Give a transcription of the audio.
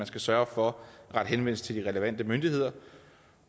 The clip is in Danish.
skal sørge for at rette henvendelse til de relevante myndigheder